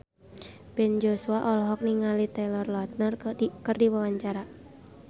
Ben Joshua olohok ningali Taylor Lautner keur diwawancara